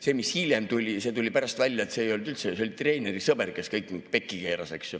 See, mis hiljem tuli: pärast tuli välja, et see oli treeneri sõber, kes kõik pekki keeras.